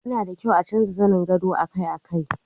yana da kyau a canza zanen gado akai-akai